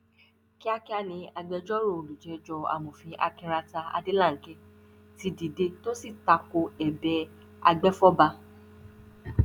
kíákíá ni agbẹjọrò olùjẹjọ amọfin akinrata adelanke ti dìde tó sì ta ko ẹbẹ agbèfọba